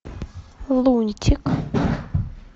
лунтик